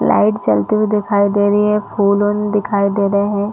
Light जलती हुई दिखाई दे रही है फूल-उन दिखाई दे रहे है।